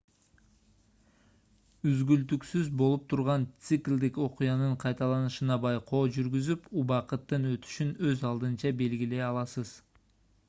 үзгүлтүксүз болуп турган циклдик окуянын кайталанышына байкоо жүргүзүп убакыттын өтүшүн өз алдынча белгилей аласыз